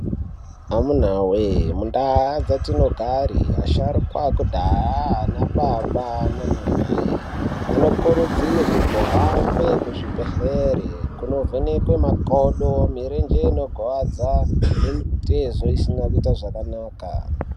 Amuna woyee mundau dzatinogare asharukwa ekudhaya anababa nanamai anokurudzirwa kuhamba kuzvibhedhlera kunovhekwa makodo mirenje inorwadza nemitezo isina kuita zvakanaka.